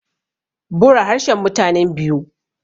bura harshen mutanen biu